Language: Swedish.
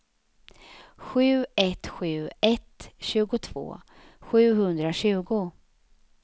sju ett sju ett tjugotvå sjuhundratjugo